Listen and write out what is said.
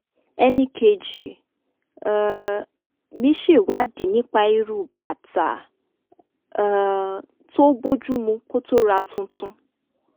e̩nìkejì um mi ṣèwádìí nípa irú bàtà um tó bójú mu kó tó ra tuntun